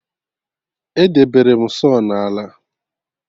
Edebere m saw na ala